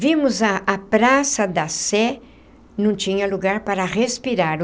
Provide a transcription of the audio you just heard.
Vimos a a Praça da Sé... não tinha lugar para respirar.